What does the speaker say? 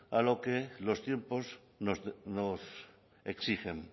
a lo que los tiempos nos exigen